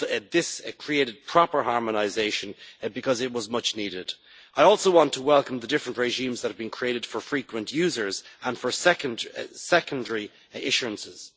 This created proper harmonisation because it was much needed. I also want to welcome the different regimes that have been created for frequent users and for secondary issuances.